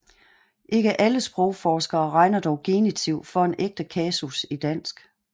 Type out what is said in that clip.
Ikke alle sprogforskere regner dog genitiv for en ægte kasus i dansk